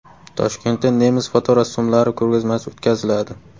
Toshkentda nemis fotorassomlari ko‘rgazmasi o‘tkaziladi.